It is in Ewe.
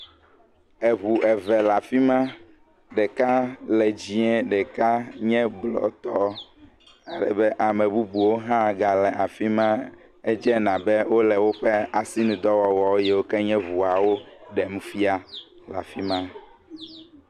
Eʋu eve le afima ɖeka le dzĩe ɖeka nye blɔ tɔ alebe ame bubuwo ha gale afima edze abe wole woƒe asinudɔwɔwɔ yiwo ke nye ʋuawo ɖem fia